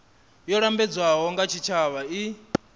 yo lambedzwaho nga tshitshavha i